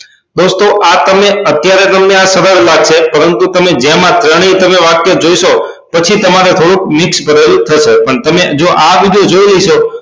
દોસ્તો આ તમને અત્યારે તમને આ સરળ લાગશે પરંતુ તમે જેમ આ શ્રેણીનું તમે આ વાક્ય જોશો પછી તમારે થોડું મિક્સ ભરેલું થશે પછી તમે આ રીતે જોય લેશો